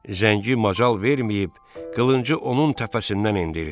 Zəngi macal verməyib qılıncı onun təpəsindən endirdi.